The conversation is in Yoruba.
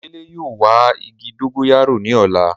Dele yóò wa igi dogoyaro ni ọla